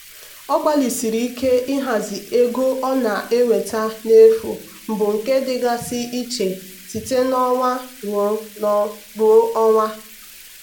ọ gbalịsiri ike ịhazi ego ọ na-enweta n'efu bụ nke dịgasị iche site n'ọnwa ruo ọnwa.